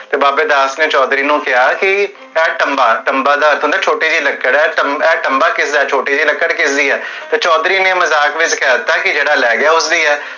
ਤੇ ਬਾਬੇ ਦਾਸ ਨੇ ਚੋਧਰੀ ਨੂੰ ਕੇਹਾ ਕੀ, ਟਮ੍ਬਾ, ਟਮ੍ਬਾ ਦਾ ਅਰਥ ਹੁੰਦਾ ਹੈ ਕੀ ਛੋਟੀ ਜਿਹੀ ਲਕੜ ਹੈ, ਇਹ ਟਮ੍ਬਾ ਕਿਸਦਾ ਹੈ? ਛੋਟੀ ਜਿਹੀ ਲਕੜ ਕਿਸਦੀ ਆ? ਤੇ ਚੋਧਰੀ ਨੇ ਮਜ਼ਾਕ ਵਿਚ ਕਹਤਾ ਕੀ ਜੇਹੜਾ ਲੈ ਗਿਆ, ਓਸਦੀ ਆ